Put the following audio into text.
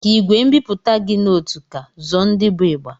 Ka ìgwè mbipụta gị noté ka, zụọ ndị bụ ịgba.